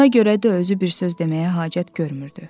Ona görə də özü bir söz deməyə hacət görmürdü.